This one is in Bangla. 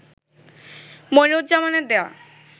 মনিরুজ্জামানের দেয়া